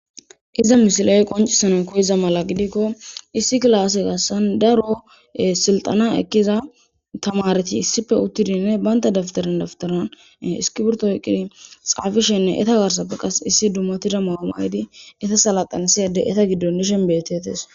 Iza missiley qoncisanas koyiza mala gidiko issi kilase garsan daro sildhana ekiza tamareti issipe utidinne banta daptaran daptaran iskibirito oyqidi xafishenne eta garsape qasi issi dumatida ma'uwa maydi eta saladhanisiya ade eta giddon dishen betetes..